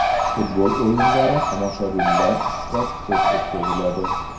Futbol o‘yinlari tomoshabinlar ishtirokisiz o‘tkaziladi.